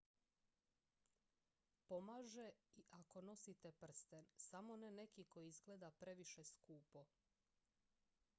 pomaže i ako nosite prsten samo ne neki koji izgleda previše skupo